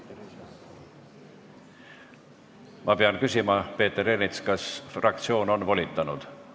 Ma pean küsima, Peeter Ernits, kas fraktsioon on volitanud.